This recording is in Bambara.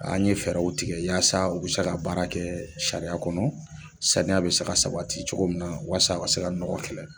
An ye fɛɛrɛw tigɛ yaasa u be se ka baara kɛ sariya kɔnɔ saniya be sae ka sabati cogo min na waasa a ka se ka nɔgɔgɔ kɛlɛ